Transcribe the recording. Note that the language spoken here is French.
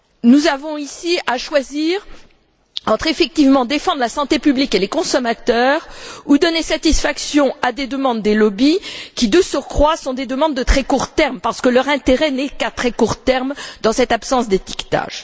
Nous avons ici à choisir entre, effectivement, défendre la santé publique et les consommateurs, ou donner satisfaction à des demandes émanant des lobbies qui, de surcroît, sont des demandes de très court terme parce que leur intérêt n'est qu'à très court terme dans cette absence d'étiquetage.